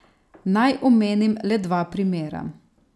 Naj omenim le dva primera.